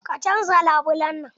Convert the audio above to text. Ka canza labulen nan!